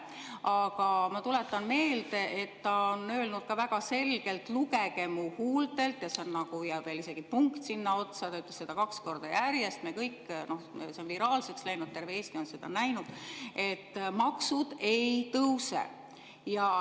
Aga ma tuletan meelde, et ta on öelnud väga selgelt ka, et lugege mu huultelt – ja veel isegi "Punkt!" sinna otsa, ta ütles seda kaks korda järjest, see on viraalseks läinud, terve Eesti on seda näinud –, et maksud ei tõuse.